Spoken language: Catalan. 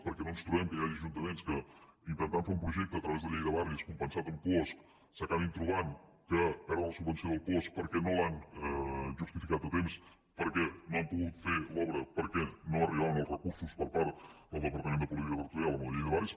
perquè no ens trobem que hi hagi ajuntaments que intentant fer un projecte a través de la llei de barris compensat amb puosc s’acabin trobant que perden la subvenció del puosc perquè no l’han justificat a temps perquè no han pogut fer l’obra perquè no arribaven els recursos per part del departament de política territorial amb la llei de barris